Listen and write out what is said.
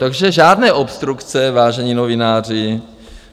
Takže žádné obstrukce, vážení novináři!